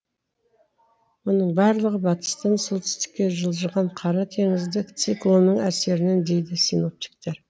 мұның барлығы батыстан солтүстікке жылжыған қара теңіздік циклонның әсерінен дейді синоптиктер